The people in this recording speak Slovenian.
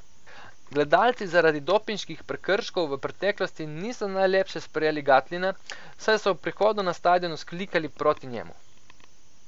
Gledalci zaradi dopinških prekrškov v preteklosti niso najlepše sprejeli Gatlina, saj so ob prihodu na stadion vzklikali proti njemu.